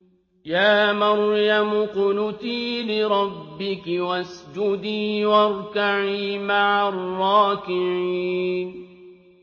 يَا مَرْيَمُ اقْنُتِي لِرَبِّكِ وَاسْجُدِي وَارْكَعِي مَعَ الرَّاكِعِينَ